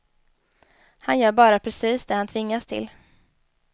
Han gör bara precis det han tvingas till.